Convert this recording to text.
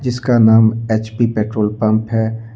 जिसका नाम HP petrol pump है।